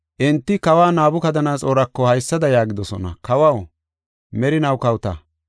Enti kawa Nabukadanaxoorako haysada yaagidosona; “Kawaw, merinaw kawota.